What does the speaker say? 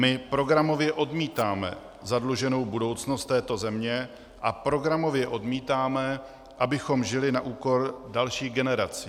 My programově odmítáme zadluženou budoucnost této země a programově odmítáme, abychom žili na úkor dalších generací.